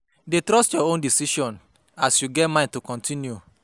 Dey trust yur own decision as yu go get mind to kontinu